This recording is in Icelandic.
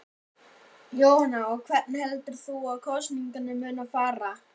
Jóhanna: Og hvernig heldur þú að kosningarnar muni fara?